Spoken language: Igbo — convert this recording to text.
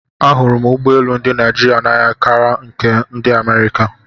Ahụrụ m ụgbọ elu ndị Naịjirịa n'anya kara nke ndị Amerịka.